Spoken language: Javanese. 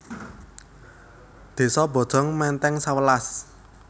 Désa Bojong Menteng sewelas